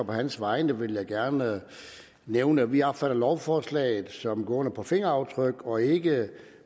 på hans vegne vil jeg gerne nævne at vi opfatter lovforslaget som gående på fingeraftryk og ikke